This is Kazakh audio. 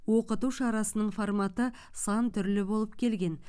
оқыту шарасының форматы сан түрлі болып келген